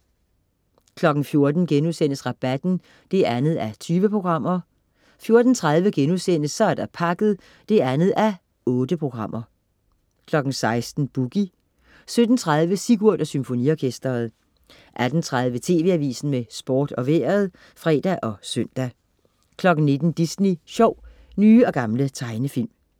14.00 Rabatten 2:20* 14.30 Så er der pakket 2:8* 16.00 Boogie 17.30 Sigurd og Symfoniorkesteret 18.30 TV AVISEN med Sport og Vejret (fre og søn) 19.00 Disney sjov. Nye og gamle tegnefilm